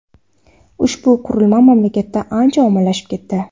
Ushbu qurilma mamlakatda ancha ommalashib ketdi.